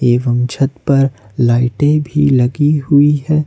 एवं छत पर लाइटे भी लगी हुई है।